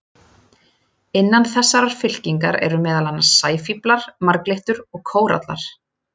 Innan þessarar fylkingar eru meðal annars sæfíflar, marglyttur og kórallar.